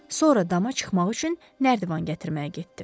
Sonra dama çıxmaq üçün nərdivan gətirməyə getdi.